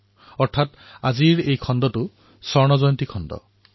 সেই অনুসৰি আজি এয়া সোণালী জয়ন্তীৰ স্বৰ্ণিম খণ্ড